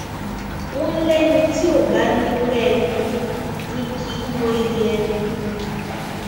wọn lẹni tí ó bá nírú ẹni ni kì í mọyì ẹni